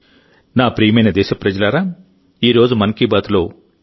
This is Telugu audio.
నా ప్రియమైన దేశప్రజలారాఈ రోజు మన్ కీ బాత్లో ఇంతే